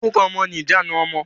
Orúkọ ọmọ ni ìjanu ọmọ.